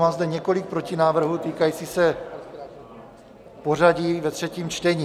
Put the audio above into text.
Mám zde několik protinávrhů, týkajících se pořadí ve třetím čtení.